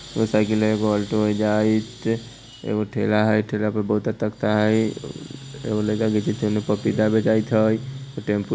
एक साइकिल है। एक ओल्टो है। एगो ठेला है। ठेला पे बोहत कतकता आई। एगो लाइका पपीता बेचाइट ह। टेम्पू --